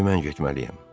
İndi mən getməliyəm.